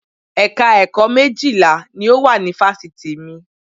Ẹ̀ka ẹ̀kọ́ méjìlá ni ó wà ní Fáṣítì mi